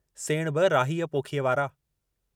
सेण बि राहीअ पोखीअ वारा।